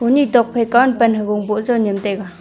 hone tokpai kaw ma pan hakok a bow jaw nyem taiga.